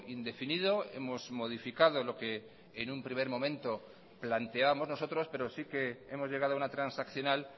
indefinido hemos modificado lo que en un primer momento planteábamos nosotros pero sí que hemos llegado a una transaccional